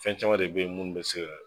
Fɛn caman de bɛ yen munnu bɛ se ka.